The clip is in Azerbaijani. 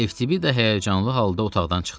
FTBida da həyəcanlı halda otaqdan çıxdı.